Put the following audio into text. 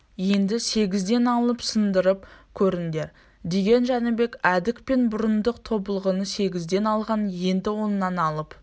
енді сегізден алып сындырып көріңдер деген жәнібек әдік пен бұрындық тобылғыны сегізден алған енді оннан алып